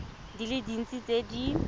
di le dintsi tse di